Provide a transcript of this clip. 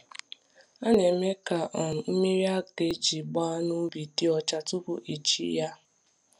A na-eme ka um mmiri a ga-eji gbaa ubi dị ọcha tupu eji ya.